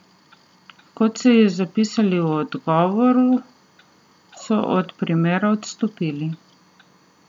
Kot so ji zapisali v odgovoru, so od primera odstopili.